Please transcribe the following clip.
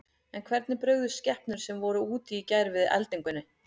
En hvernig brugðust skepnur sem voru úti í gær við eldingunni?